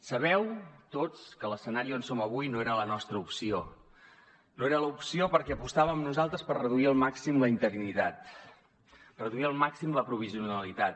sabeu tots que l’escenari on som avui no era la nostra opció no era l’opció perquè apostàvem nosaltres per reduir al màxim la interinitat reduir al màxim la provisionalitat